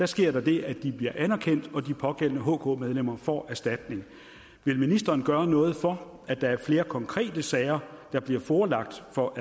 sker det at de bliver anerkendt og at de pågældende hk medlemmer får erstatning vil ministeren gøre noget for at der er flere konkrete sager der bliver forelagt for